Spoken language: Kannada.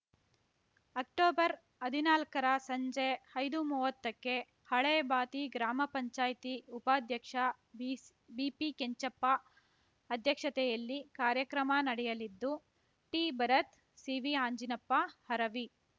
ಅಕ್ಟೊಬರ್ಹದಿನಾಲ್ಕರ ಸಂಜೆ ಐದುಮುವತ್ತಕ್ಕೆ ಹಳೇ ಬಾತಿ ಗ್ರಾಮ ಪಂಚಾಯ್ತಿ ಉಪಾಧ್ಯಕ್ಷ ಬಿಸ್ ಬಿಪಿಕೆಂಚಪ್ಪ ಅಧ್ಯಕ್ಷತೆಯಲ್ಲಿ ಕಾರ್ಯಕ್ರಮ ನಡೆಯಲಿದ್ದು ಟಿಭರತ್‌ ಸಿವಿಅಂಜಿನಪ್ಪ ಹರವಿ